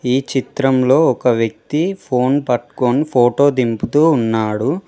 ఈ చిత్రంలో ఒక వ్యక్తి ఫోన్ పట్టుకొని ఫోటో దింపుతూ ఉన్నాడు.